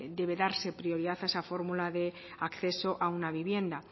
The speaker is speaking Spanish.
debe darse prioridad a esa fórmula de acceso a una vivienda